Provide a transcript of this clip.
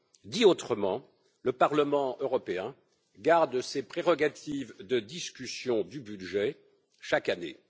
Dit autrement, le Parlement européen garde ses prérogatives de discussion du budget chaque année.